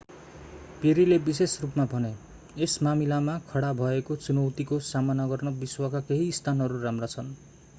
पेरीले विशेष रूपमा भने यस मामिलामा खडा भएको चुनौतीको सामना गर्न विश्वका केही स्थानहरू राम्रा छन्